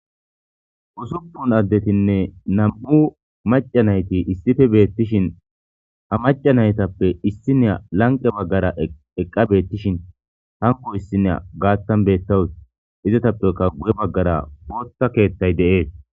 Usupun addetinne nam'u macca nayti issippe beetishin macca naytappe issinaiya lanqqe bagara eqqa beetishin hankko issiya gaaththan beetawus. Ezatappekka guye bagara booththa keethay de7ees.